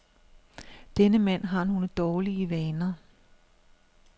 Denne mand har nogle dårlig vaner.